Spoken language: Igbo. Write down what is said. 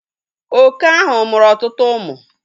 Oke ahụ mụrụ ọtụtụ ụmụ